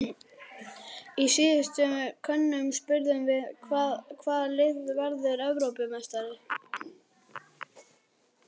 Í síðustu könnun spurðum við- Hvaða lið verður Evrópumeistari?